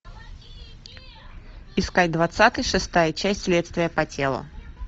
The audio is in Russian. искать двадцатый шестая часть следствие по телу